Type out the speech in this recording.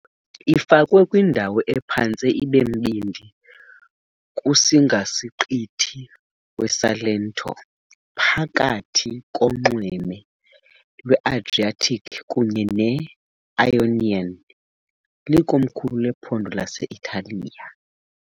Ifakwe kwindawo ephantse ibembindi kusingasiqithi weSalento, phakathi konxweme lweAdriatic kunye ne-Ionian, likomkhulu lephondo lase-Italiya .